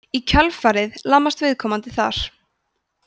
í kjölfarið lamast viðkomandi þar